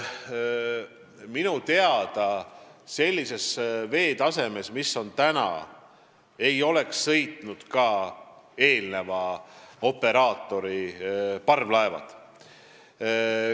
Minu teada sellise veetaseme korral, nagu on praegu, ei oleks sõitnud ka eelmise operaatori parvlaevad.